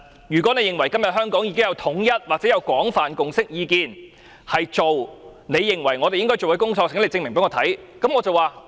如果你認為今天香港已經有統一，或者廣泛共識意見，認為政府要做你認為我們應該做的工作，請你證明給我看。